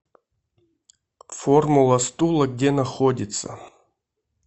формула стула где находится